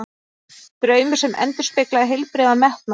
Draumur sem endurspeglaði heilbrigðan metnað.